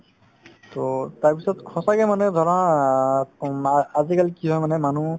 to তাৰপিছত সঁচাকে মানুহে জনাত উম ‌ আ ~ আজিকালি কি হয় মানে মানুহ